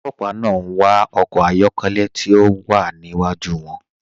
Olòpà náà n wà ọkọ̀ ayọ̀kẹlẹ̀ tí o wà níwájú wọn.